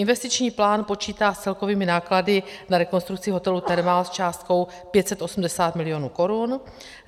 Investiční plán počítá s celkovými náklady na rekonstrukci hotelu Thermal s částkou 580 milionů korun.